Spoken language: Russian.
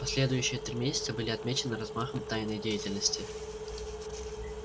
последующие три месяца были отмечены размахом тайной деятельности